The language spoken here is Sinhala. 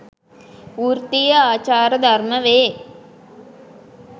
වෘත්තිය ආචාර ධර්ම වේ